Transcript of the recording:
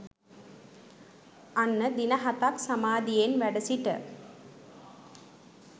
අන්න දින හතක් සමාධියෙන් වැඩසිට